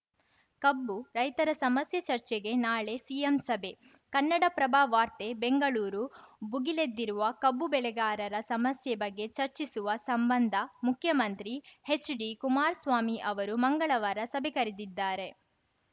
ಕಬ್ಬು ರೈತರ ಸಮಸ್ಯೆ ಚರ್ಚೆಗೆ ನಾಳೆ ಸಿಎಂ ಸಭೆ ಕನ್ನಡಪ್ರಭ ವಾರ್ತೆ ಬೆಂಗಳೂರು ಭುಗಿಲೆದ್ದಿರುವ ಕಬ್ಬು ಬೆಳೆಗಾರರ ಸಮಸ್ಯೆ ಬಗ್ಗೆ ಚರ್ಚಿಸುವ ಸಂಬಂಧ ಮುಖ್ಯಮಂತ್ರಿ ಹೆಚ್‌ಡಿಕುಮಾರಸ್ವಾಮಿ ಅವರು ಮಂಗಳವಾರ ಸಭೆ ಕರೆದಿದ್ದಾರೆ